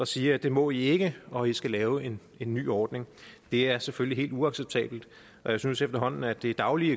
siger det må i ikke og i skal lave en en ny ordning det er selvfølgelig helt uacceptabelt og jeg synes efterhånden at vi dagligt